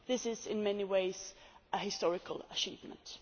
This is, in many ways, a historic achievement.